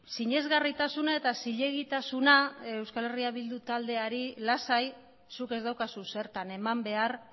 sinesgarritasuna eta zilegitasuna euskal herria bildu taldeari lasai zuk ez daukazu zertan eman behar